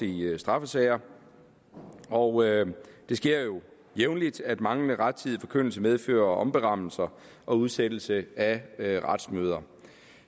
i straffesager og det sker jo jævnligt at manglende rettidig forkyndelse medfører omberammelser og udsættelser af af retsmøder